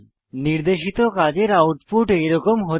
নির্দেশিত কাজের আউটপুট এরকম হতে হবে